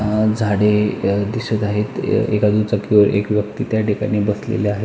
झाडे दिसत आहे एका दुचाकीवर एक व्यक्ति त्या ठिकाणी बसलेला आहे.